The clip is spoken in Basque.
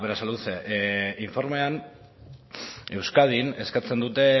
berasaluze informean euskadin eskatzen dute